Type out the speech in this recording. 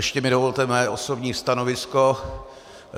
Ještě mi dovolte mé osobní stanovisko.